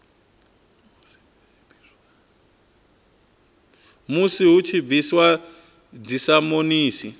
musi hu tshi bviswa dzisamonisi